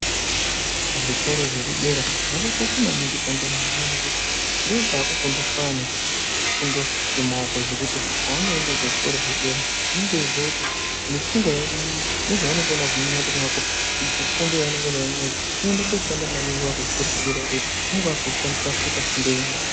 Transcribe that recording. Zvikora zvekudera zvakakosha maningi ndokwakufundiswa ana dundo yemaoko zvekuti pavanoenda kuzvikora zvedera unenge weiziya kuti nepfungwa nezvaanokona zviri mundxondo mwako fundo yaunenga unayo inoende koshanda maningi wakuchikora chedera iyoyo ngekuti unenge wakuishandisa kuita fundo yepashi